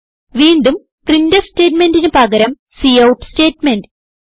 വീണ്ടും പ്രിന്റ്ഫ് സ്റ്റേറ്റ്മെന്റിന് പകരം കൌട്ട് സ്റ്റേറ്റ്മെന്റ്